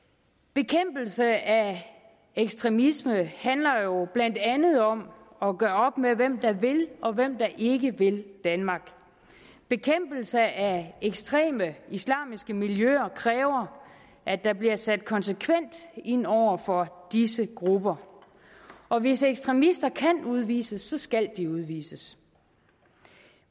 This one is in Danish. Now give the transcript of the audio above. bekæmpelse af ekstremisme handler jo blandt andet om at gøre op med hvem der vil og hvem der ikke vil danmark bekæmpelse af ekstreme islamiske miljøer kræver at der bliver sat konsekvent ind over for disse grupper og hvis ekstremister kan udvises skal de udvises